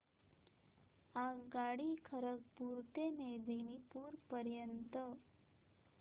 आगगाडी खरगपुर ते मेदिनीपुर पर्यंत